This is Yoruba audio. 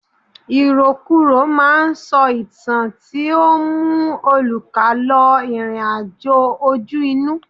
Ìròkurò ma ń sọ ìtàn tí ó ń mú olùkà lọ ìrìn àjò ojú inú.